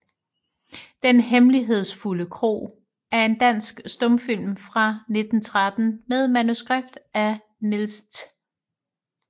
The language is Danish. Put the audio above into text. Den hemmelighedsfulde Kro er en dansk stumfilm fra 1913 med manuskript af Niels Th